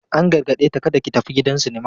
An gargade ta "kada ki tafi gidan sinima!"